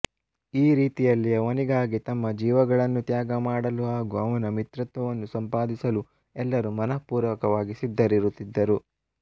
ಈ ರೀತಿಯಲ್ಲಿ ಅವನಿಗಾಗಿ ತಮ್ಮ ಜೀವಗಳನ್ನು ತ್ಯಾಗಮಾಡಲು ಹಾಗೂ ಅವನ ಮಿತ್ರತ್ವವನ್ನು ಸಂಪಾದಿಸಲು ಎಲ್ಲರೂ ಮನಃಪೂರ್ವಕವಾಗಿ ಸಿದ್ಧರಿರುತ್ತಿದ್ದರು